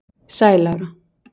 Sæl Lára